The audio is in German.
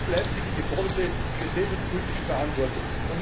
Wo bleibt hier die geforderte gesellschaftspolitische Verantwortung?